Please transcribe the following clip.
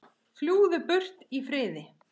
Fljúgðu burt í friði.